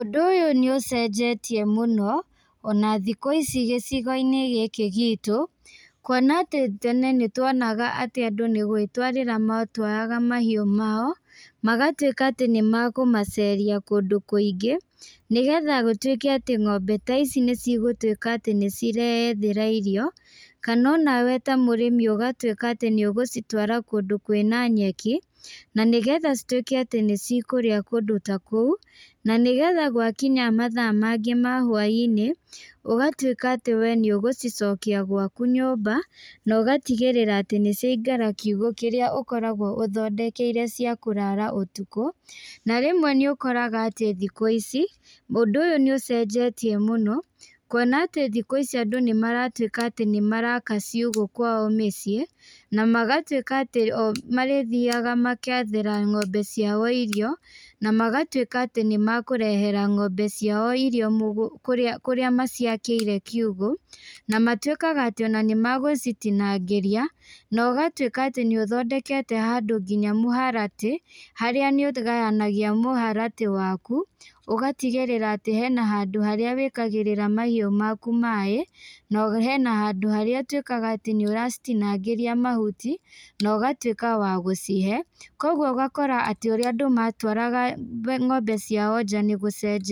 Ũndũ ũyũ nĩũcenjetie mũno, ona thikũ ici gĩcigoinĩ gĩkĩ gitũ, kuona atĩ tene nĩtuonaga atĩ andũ nĩgwĩtwarĩra matwaraga mahiũ mao, magatuĩka atĩ nĩmakũmaceria kũndũ kũingĩ, nĩgetha gũtuĩke atĩ ng'ombe ta ici nĩcigũtuĩka atĩ nĩcireyethera irio, kana onawe ta mũrĩmi ũgatuĩka atĩ nĩũgũcitwara kũndũ kwĩna nyeki, na nĩgetha cituĩke atĩ nĩcikũrĩa kũndũ ta kũu, na nĩgetha gwakinya mathaa mangĩ ma hwainĩ, ũgatuĩka atĩ we nĩũgũcicokia gwaku nyũmba, na ũgatigĩrĩra atĩ nĩciaingĩra kiugũ kĩrĩa ũkoragwo ũthondekeire cia kũrara ũtukũ, na rĩmwe nĩũkoraga atĩ thikũ ici, ũndũ ũyũ nĩũcenjetie mũno, kuona atĩ thikũ ici andũ nĩmaratuĩka atĩ nĩmaraka ciugũ kwao mĩciĩ, namagatuĩka atĩ o marĩthiaga magethera ng'ombe ciao irio, namagatuĩka atĩ nĩmakũrehera ng'ombe ciao irio mũgũ kũrĩa kũrĩa maciakĩire kiugũ, namatuĩka atĩ ona nĩmagũcitinangĩrĩa, na ũgatuĩka atĩ nĩũthondekete handũ nginya mũharatĩ, harĩa nĩũgayanagia mũharatĩ waku, ũgatigĩrĩra atĩ hena handũ harĩa wĩkagĩrĩra mahiũ maku maĩ, na hena handũ harĩa ũtuĩkaga atĩ nĩũracitinangĩria mahuti, na ũgatuĩka wa gũcihe, koguo ũgakora atĩ ũrĩa andũ matwaraga ng'ombe ciao nja nĩgũcenjetie.